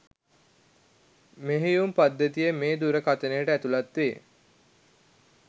මෙහෙයුම් පද්ධතිය මේ දුරකථනයට ඇතුලත් වේ.